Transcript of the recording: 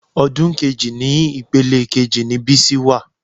Odun kejì ni ìpele kejì ni Bísí wà